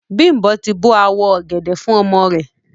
Bimbo ti bo awọ ogẹdẹ fun ọmọ rẹ.